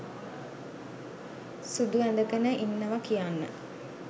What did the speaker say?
සුදු ඇඳගෙන ඉන්නවා කියන්න.